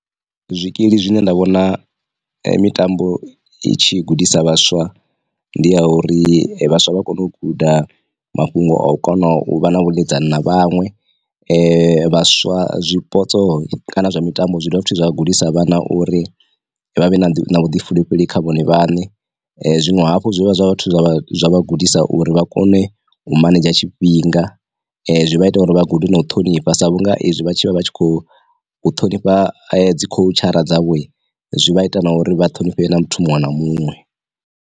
Zwikili zwine nda vhona mitambo i tshi gudisa vhaswa ndi ya uri vhaswa vha kone u guda mafhungo a u kona u vha na vhuḽedzani na vhaṅwe, [um vhaswa zwipotso kana zwa mitambo zwi dovha futhi zwa gudisa vhana uri vha vhe na vhuḓifulufheli kha vhone vhaṋe, zwiṅwe hafhu zwi dovha zwa zwa zwa vha gudisa uri vha kone u manendzha tshifhinga, zwi vha ita uri vha gude na u ṱhonifha sa vhunga izwi vha tshi vha vha tshi khou ṱhonifha dzi kho tshadzhara dzavho zwi vha ita na uri vha ṱhonifhe na muthu muṅwe na muṅwe.